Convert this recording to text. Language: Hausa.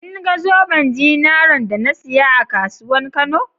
kinga zoben zinaren da na siya a kasuwan kano?